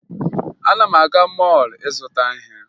Ana m aga mọọlụ ịzụta ihe